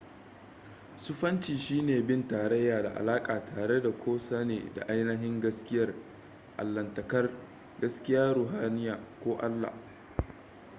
sufanci shine bin tarayya da alaka tare da ko sane da ainihin gaskiyar allahntakar gaskiyar ruhaniya ko allah